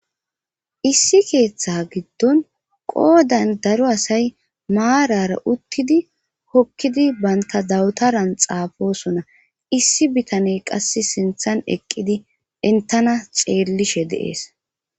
issi keeththa giddon qoodan daro asay maarara uttidi hokkidi banta dawutaran xaafosona issi bitaney qas sinthan eqqidi intana xeellishe de'ees